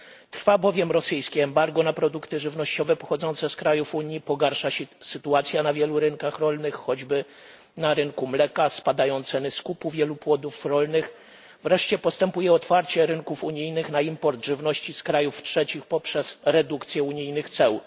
Trwa bowiem rosyjskie embargo na produkty żywnościowe pochodzące z krajów Unii, pogarsza się sytuacja na wielu rynkach rolnych choćby na rynku mleka spadają ceny skupu wielu płodów rolnych, wreszcie postępuje otwarcie rynków unijnych na import żywności z krajów trzecich poprzez redukcję unijnych ceł.